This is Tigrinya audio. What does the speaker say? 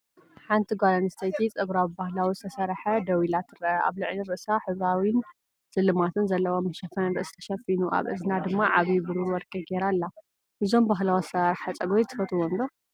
ሓንቲ ጓል ኣንስተይቲ ጸጉራ ብባህላዊ ዝተስርሐ ደው ኢላ ትርአ። ኣብ ልዕሊ ርእሳ ሕብራዊን ስልማትን ዘለዎ መሸፈኒ ርእሲ ተሸፊኑ፡ ኣብ እዝና ድማ ዓቢ ብሩር ወርቂ ገይራ ኣላ። እዞም ባህላዊ ኣሰራርሓ ጸጉሪ ትፈትውዎም ዶ?